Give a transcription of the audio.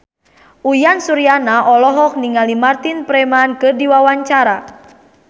Uyan Suryana olohok ningali Martin Freeman keur diwawancara